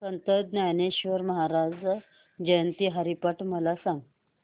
संत ज्ञानेश्वर महाराज जयंती हरिपाठ मला सांग